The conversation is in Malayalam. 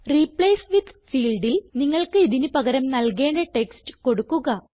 റിപ്ലേസ് വിത്ത് ഫീൽഡിൽ നിങ്ങൾക്ക് ഇതിന് പകരം നൽകേണ്ട ടെക്സ്റ്റ് കൊടുക്കുക